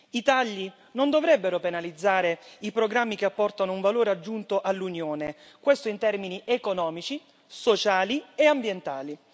I tagli non dovrebbero penalizzare i programmi che apportano un valore aggiunto all'Unione in termini economici, sociali e ambientali.